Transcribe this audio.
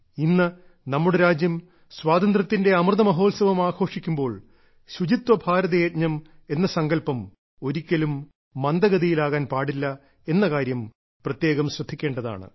ഇന്ന് നമ്മുടെ രാജ്യം സ്വാതന്ത്ര്യത്തിന്റെ അമൃത മഹോത്സവം ആഘോഷിക്കുമ്പോൾ ശുചിത്വ ഭാരത യജ്ഞം എന്ന സങ്കല്പം ഒരിക്കലും മന്ദഗതിയിലാകാൻ പാടില്ല എന്ന കാര്യം പ്രത്യേകം ശ്രദ്ധിക്കേണ്ടതാണ്